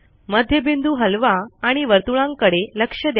मध्यबिंदू हलवा आणि वर्तुळांकडे लक्ष द्या